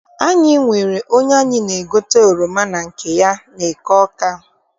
Anyị nwere onye anyị na-egote oroma na nke ya n'eke Awka.